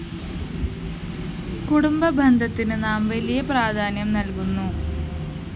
കുടുംബബന്ധത്തിന് നാം വലിയ പ്രാധാന്യം നല്‍കുന്നു